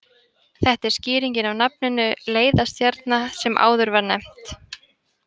Þetta er skýringin á nafninu leiðarstjarna sem áður var nefnt.